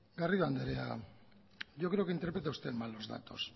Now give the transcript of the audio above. garrido andrea yo creo que interpreta usted mal los datos